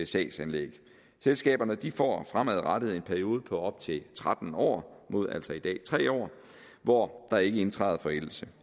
sagsanlæg selskaberne får fremadrettet en periode på op til tretten år mod altså i dag tre år hvor der ikke indtræder forældelse